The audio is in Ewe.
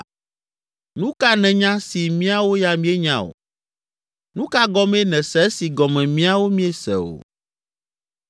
Nu ka nènya si míawo ya míenya o? Nu ka gɔmee nèse esi gɔme míawo míese o?